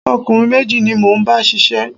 Ọ̀kùnrin méjì ni mo ń bá ṣiṣẹ́